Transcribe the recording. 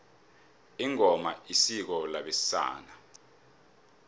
ingoma isiko labesana